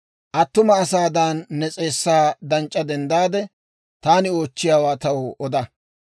«Attuma asaadan ne s'eessaa danc'c'a denddaade, taani oochchiyaawaa taw oda.